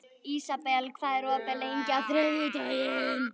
Ísabel, hvað er opið lengi á þriðjudaginn?